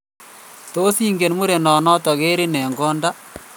Tos ingen mureneno kerin eng' konda?